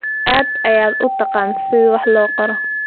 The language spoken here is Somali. Aad ayaad u taqaan sida wax loo qoro.